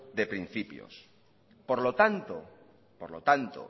de principios por lo tanto por lo tanto